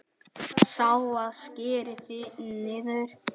Sá, að skera niður.